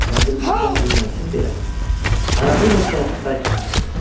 Kəndir möhkəm düyünlənsin deyə ayağı ilə kələfi bərk basırdı.